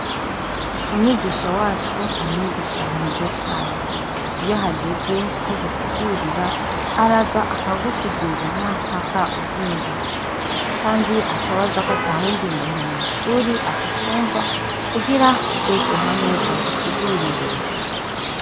Umwigisha wacu ni umwigisha mwiza cane iyo hageze ko gusigurira araza akagusigurira mpaka uvyumvise, kandi acabaza ko ata wundi muntu mw'ishuri atacumva kugira twese hamwe adusigurire.